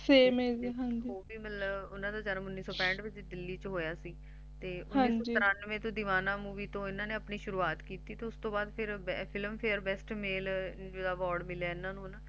ਉਨ੍ਹਾਂ ਦਾ ਜਨਮ ਉੱਨੀ ਸੌ ਪੈਠ 'ਚ ਦਿੱਲੀ 'ਚ ਹੋਇਆ ਸੀ ਉਨ੍ਹਾਂ ਨੇ ਉੱਨੀ ਸੌ ਤਰਾਂਨਵੇ 'ਚ Deewana Movie ਨਾਲ ਆਪਣੇ ਸ਼ੁਰੂਆਤ ਕੀਤੀ ਸੀ ਜਿਸ ਤੋਂ ਬਾਅਦ ਉਨ੍ਹਾਂ ਨੂੰ Filmfare Best Male Award ਮਿਲਿਆ ਇਹਨਾ ਨੂੰ ਹੈਨਾ